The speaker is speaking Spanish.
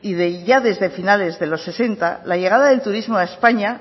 ya desde finales de los sesenta la llegada del turismo a españa